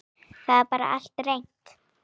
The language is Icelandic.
Það er bara allt reynt.